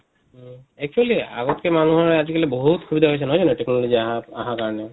actually আগতকে আজি কালি বহুত সুবিধা হৈছে নহয় জানো technology আহা আহাৰ কাৰণে?